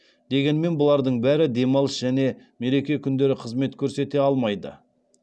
дегенмен бұлардың бәрі демалыс және мереке күндері қызмет көрсете алмайды